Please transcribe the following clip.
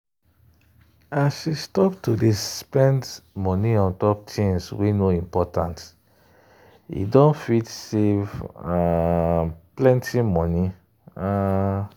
as she stop to dey spend money untop things wey no important e don fit save um plenty money. um